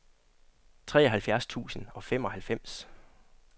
treoghalvfjerds tusind og femoghalvfems